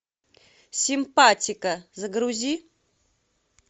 симпатико загрузи